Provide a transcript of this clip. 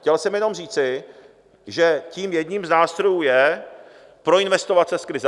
Chtěl jsem jenom říci, že tím jedním z nástrojů je proinvestovat se z krize.